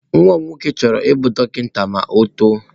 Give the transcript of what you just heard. Nwa m nwoke chọrọ ịbụ dọkịta ma ọ otoo.